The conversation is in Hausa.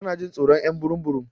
Tana Jin tsoron y'an burum burum.